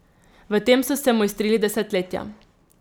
V tem so se mojstrili desetletja.